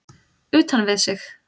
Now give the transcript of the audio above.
Utan við sig?